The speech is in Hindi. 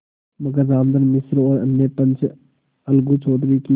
मगर रामधन मिश्र और अन्य पंच अलगू चौधरी की